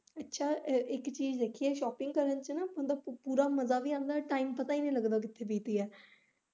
ਅੱਛਾ ਇੱਕ ਚੀਜ ਦੇਖੀ ਐ shopping ਕਰਨ ਚ ਬੰਦਾ ਪੂਰਾ ਮਜਾ ਵੀ ਆਉਦਾ time ਪਤਾ ਹੀ ਨੀ ਲੱਗਦਾ ਕਿੱਥੇ ਬੀਤ ਗਿਆ।